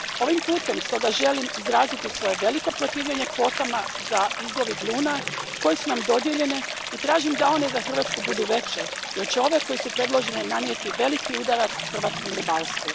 Ovim putem stoga želim izraziti svoje veliko protivljenje kvotama za izlov igluna koje su nam dodijeljene i tražim da one za Hrvatsku budu veće jer će ove koje su predložene nanijeti veliki udarac hrvatskom ribarstvu.